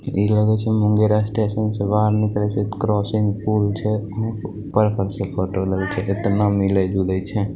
इ लागए छै मुंगेर स्टेशन से बाहर निकलए छै क्रॉसिंग पुल छै ऊपर पर से फोटो छै इतना मिलए जलए छै।